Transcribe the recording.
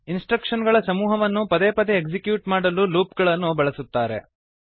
instruction ಗಳ ಸಮೂಹವನ್ನು ಪದೇ ಪದೇ ಎಕ್ಸಿಕ್ಯೂಟ್ ಮಾಡಲು ಲೂಪ್ ಗಳನ್ನು ಬಳಸುತ್ತಾರೆ